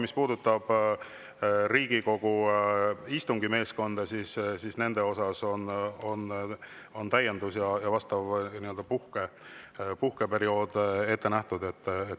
Mis puudutab Riigikogu istungi meeskonda, siis neile on täiendus ja vastav puhkeperiood ette nähtud.